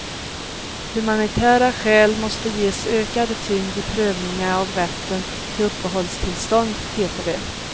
Humanitära skäl måste ges ökad tyngd i prövningen av rätten till uppehållstillstånd, heter det.